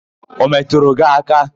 Ọ metụrụ gị aka?